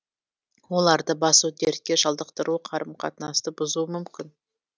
оларды басу дертке шалдықтыруы қарым қатынасты бұзуы мүмкін